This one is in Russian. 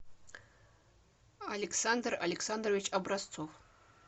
александр александрович образцов